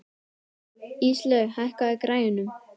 Íslaug, hækkaðu í græjunum.